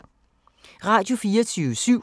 Radio24syv